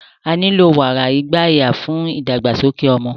Á nilo wara igbaya fun idagbasoke ọmọ